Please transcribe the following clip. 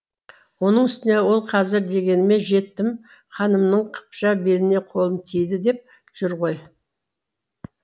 оның үстіне ол қазір дегеніме жеттім ханымның қыпша беліне қолым тиді деп жүр ғой